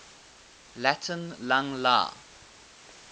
latin lang la